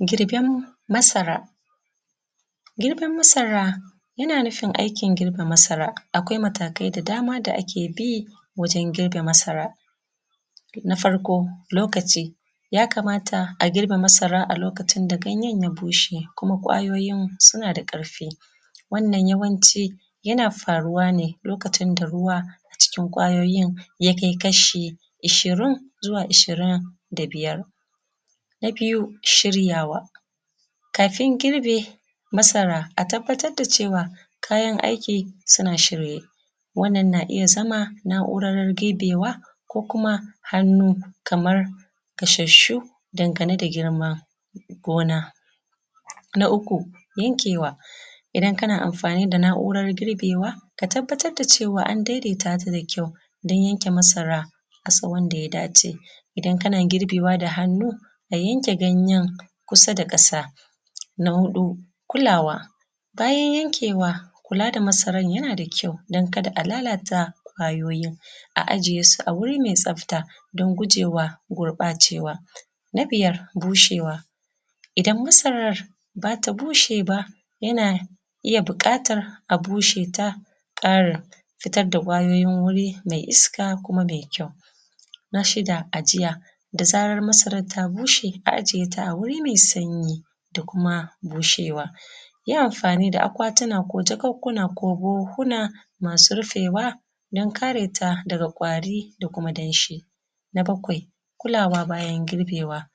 Girben Masara. Girben masara yana nufin aikin girbe masara. Akwai matakai da dama da ake bi wajen girbe masara. Na farko, lokaci. Ya kamata a girbe masara a Lokacin da ganyen ya bushe kuma ƙwayoyin suna da ƙarfi, wannan yawanci yana faruwa ne lokacin da ruwa a cikin ƙwayoyin ya kai kashi ashirin zuwa ashirin da biyar. Na biyu, shiryawa. Bayan an girbe masara a tabbatar da cewa kayan aiki suna shirye. Wannan na iya zama na’urar girbewa ko kuma hannu kamar gashshu dangane da girman gona. Na uku, yankewa. Idan kana amfani da na’urar girbewa ka tabbatar da cewa an daidaita ta da kyau don yanke masara a sahun da ya dace. Idan kana girbewa da hannu, ka yanke ganyen kusa da ƙasa. Na huɗu, kulawa. Bayan yankewa kula da masaran yanan da kyau don kada a lalata ƙwayoyin a ajiye su a wuri mai tsafta don gujewa gurbacewa. Na biyar, bushewa. Idan masarar ba ta bushe ba yana iya buƙatar a busheta a ƙara fitar da ƙwayoyin wuri mai iska kuma mai kyau. Na shida, ajiya. Da zarar ta bushe a aje ta a wuri mai sanyi da kuma bushewa. Yi amfani da akwatuna ko jakukkuna ko buhuhuna masu rufewa don kare ta daga ƙwari da kuma danshi. Na bakwai, kulawa bayan girbewa.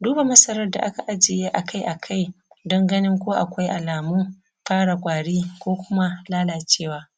Duba masarar da aka ajiye akai akai don ganin ko akwai alamun fara ƙwari ko kuma lalacewa.